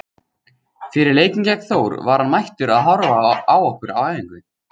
Fyrir leikinn gegn Þór var hann mættur að horfa á okkur á æfingu.